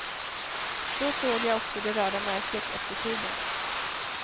Då såg jag också det röda märket efter kuben.